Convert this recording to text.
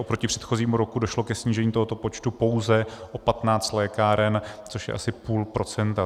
Oproti předchozímu roku došlo ke snížení tohoto počtu pouze o 15 lékáren, což je asi půl procenta.